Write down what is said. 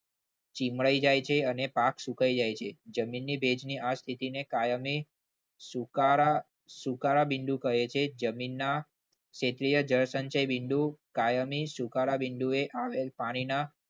ચીમળી જાય છે અને પાક સુકાઈ જાય છે. જમીનની ભેજની સ્થિતિ ની આ કાયમની સુકારા સુકારા બિંદુ કહે છે. જમીનના ક્ષેત્રીય જળસંચયના બિંદુ કાયમી સુકારા બિંદુએ આવેલ પાણીના